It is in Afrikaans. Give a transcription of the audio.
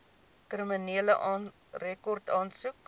kriminele rekord aansoek